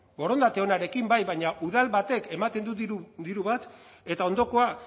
borondate onarekin bai baina udal batek ematen du diru bat eta ondokoa